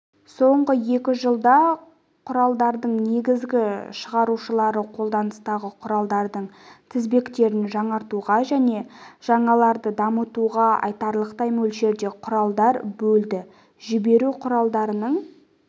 соңғы екі жылда құралдарының негізгі шығарушылары қолданыстағы құралдардың тізбектерін жаңартуға және жаңаларын дамытуға айтарлықтай мөлшерде құралдар бөлді жіберу құралдарының